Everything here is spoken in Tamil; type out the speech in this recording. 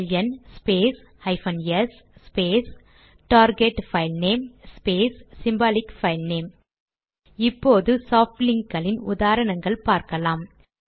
LN space hyphen S space target filename space symbolic filename இப்போது சாப்ட் லிங்க் களின் உதாரணங்கள் பார்க்கலாம்